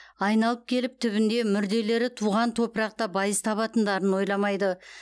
айналып келіп түбінде мүрделері туған топырақта байыз табатындарын ойламайды